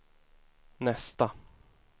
nästa